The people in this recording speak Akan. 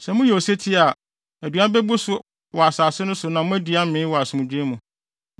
Sɛ moyɛ osetie a, aduan bebu so wɔ asase no so na moadi amee wɔ asomdwoe mu.